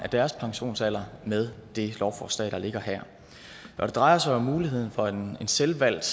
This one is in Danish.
deres pensionsalder med det lovforslag der ligger her det drejer sig om muligheden for en selvvalgt